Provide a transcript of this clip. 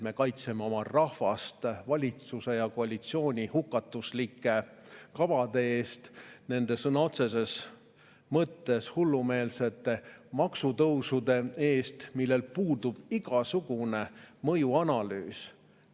Me kaitseme oma rahvast valitsuse ja koalitsiooni hukatuslike kavade eest, nende sõna otseses mõttes hullumeelsete maksutõusude eest, millel puudub igasugune mõjuanalüüs.